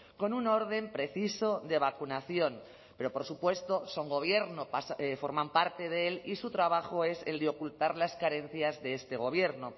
con un orden preciso de vacunación pero por supuesto son gobierno forman parte de él y su trabajo es el de ocultar las carencias de este gobierno